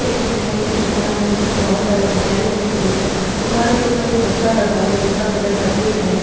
एक मिठाई की दुकान है जिसमें बहुत सारी मिठाई रखी हुई है| दुकान के ऊपर एक पत्रा लगा हुआ है जिसका कलर सफेद है।